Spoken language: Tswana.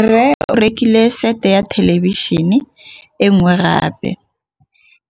Rre o rekile sete ya thêlêbišênê e nngwe gape.